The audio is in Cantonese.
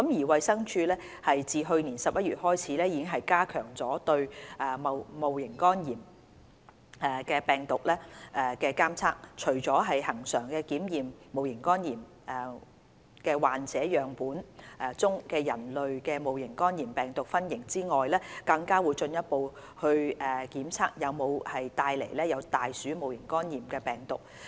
衞生署自去年11月開始已加強對戊型肝炎病毒的監測，除了恆常檢測戊型肝炎患者樣本中的人類戊型肝炎病毒分型外，更會進一步檢測有否帶有大鼠戊型肝炎病毒。